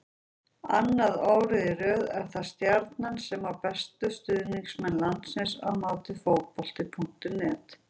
Annað árið í röð er það Stjarnan sem á bestu stuðningsmenn landsins að mati Fótbolta.net.